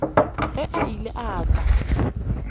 ge a ile a tla